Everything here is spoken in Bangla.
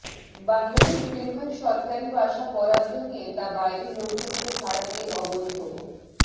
বাংলাদেশ রেলওয়ের সরকারি বাসা বরাদ্দ নিয়ে তা বাইরে লোকজনকে ভাড়া দিয়ে অবৈধভ